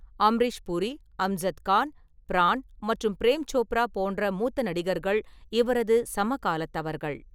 அம்ரீஷ் பூரி, அம்ஜத் கான், ப்ரான் மற்றும் பிரேம் சோப்ரா போன்ற மூத்த நடிகர்கள் இவரது சமகாலத்தவர்கள்.